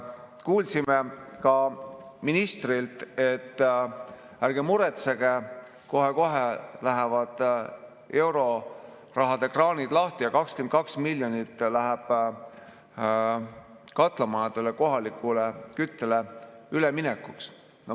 Kuulsime ka ministrilt, et ärge muretsege, kohe-kohe lähevad eurorahakraanid lahti ja 22 miljonit läheb katlamajadele kohalikule küttele üleminekuks.